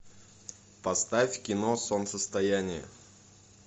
поставь кино солнцестояние